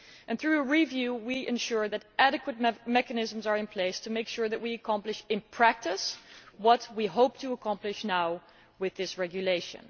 Through a review, we ensure that adequate enough mechanisms are in place to make sure that we accomplished in practice what we hope to accomplish now with this regulation.